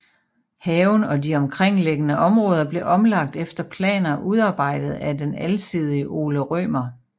Haven og de omkringliggende områder blev omlagt efter planer udarbejdet af den alsidige Ole Rømer